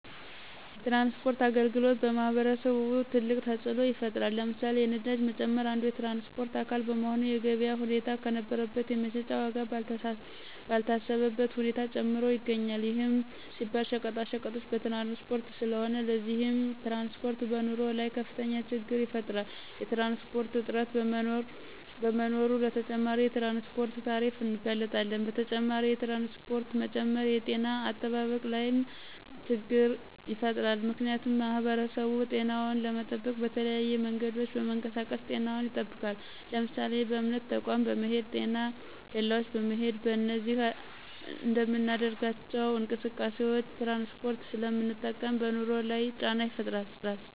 የትራንስፖርት አገልግሎት በማህበረሰቡ ትልቅ ተፅኖ ይፍጥራል። ለምሳሌ፦ የነዳጅ መጨመር አንዱ የትራንስፖርት አካል በመሆኑ የገበያ ሁኔታን ከነበረበት የመሸጫ ዎጋ ባልታሰበበት ሁኔታ ጨምሮ ይገኞል ይህም ሲባል ሸቀጣቀጦች በትራንስፖርት ስለሆነ። ለዚህም ትራንስፖርት በኑሮ ላይ ከፍተኞ ችግር ይፈጥራል። የትራንስፖርት እጥረት በመኖሮ ለተጨማሪ የትራንስፖርት ታሪፍ እንጋለጣለን። በተጨማሪ የትራንስፖርት መጨመር የጤነ አጠባበቅ ላይም ችገር ይፈጥራል ምክንያቱሙ ማህበረሰቡ ጤናውን ለመጠበቅ በተለያዩ መንገዶች በመንቀሳቀስ ጤናውን ይጠብቃል ለምሳሌ:- በእምነት ተቆም በመሄድ: ጤና ኬላዎች በመሄድ በእነዚህ በምናደርጋቸው እንቅስቃሴዎች ትራንስፖርት ስለምንጠቀም በኑሮ ላይ ጫና ይፈጥራል